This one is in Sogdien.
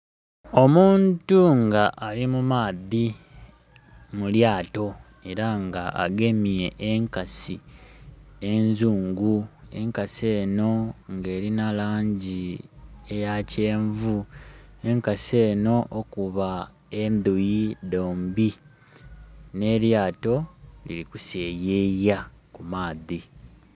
Omuntu nga ali mumaadhi mulyato era nga agemye enkasi enzuungu. Enkasi eno nga erina langi eya kyenvu, enkasi eno okuba endhuyi dhombi ne lyato lili kuseyeya ku maadhi.